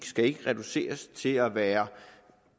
skal ikke reduceres til at være